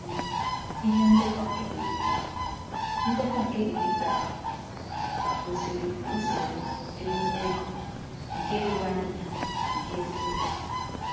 um Ihe ndekọ nke digitalu ndekọ nke digitalu gosiri usoro erime ego nke doro anya nke ziri ezi.